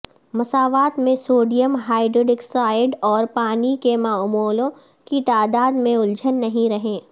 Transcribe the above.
مساوات میں sodium hydroxide اور پانی کے مولوں کی تعداد میں الجھن نہیں رہیں